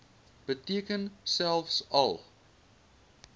beteken selfs al